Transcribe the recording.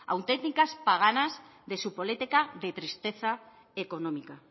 auténticas paganas de su política de tristeza económica